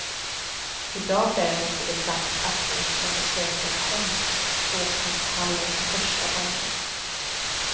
I dag däremot är det sagt att hon ska besöka konståkningshallen för första gången.